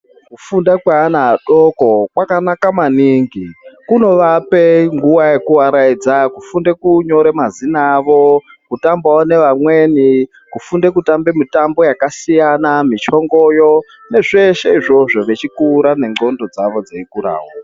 Kufunda kweana adoko kwakanaka maningi kunovape nguva yekuaraidza kufunde kunyora mazina avo, kutambawo nevamweni kufunda kutambe mitambo yakasiyana michongoyo nezveshe izvozvo vechikura nendxondo dzavo dzichikurawo.